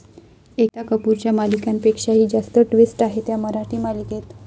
एकता कपूरच्या मालिकांपेक्षाही जास्त ट्विस्ट आहेत या मराठी मालिकेत